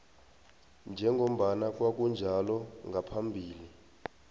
njengombana kwakunjalo ngaphambi